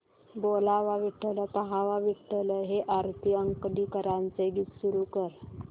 बोलावा विठ्ठल पहावा विठ्ठल हे आरती अंकलीकरांचे गीत सुरू कर